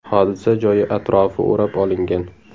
Hodisa joyi atrofi o‘rab olingan.